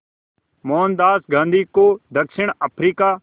मोहनदास गांधी को दक्षिण अफ्रीका